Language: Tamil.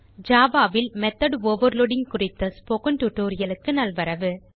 ஜாவா ல் மெத்தோட் ஓவர்லோடிங் குறித்த ஸ்போக்கன் டியூட்டோரியல் க்கு நல்வரவு